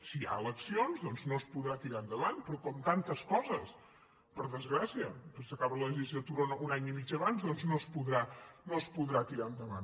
si hi ha eleccions doncs no es podrà tirar endavant però com tantes coses per desgràcia que s’acaba la legislatura un any i mig abans doncs no es podrà tirar endavant